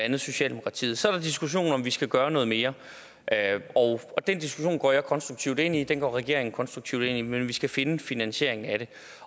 andet socialdemokratiet så er der diskussionen om om vi skal gøre noget mere og og den diskussion går jeg konstruktivt ind i den går regeringen konstruktivt ind i men vi skal finde en finansiering af